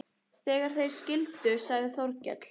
Þegar þeir skildu sagði Þórkell